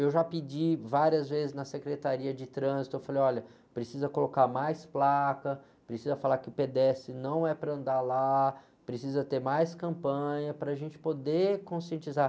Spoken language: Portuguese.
Eu já pedi várias vezes na Secretaria de Trânsito, eu falei, olha, precisa colocar mais placa, precisa falar que o pedestre não é para andar lá, precisa ter mais campanha para a gente poder conscientizar.